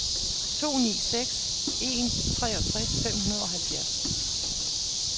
to ni seks en treogtres fem hundrede og halvfjerds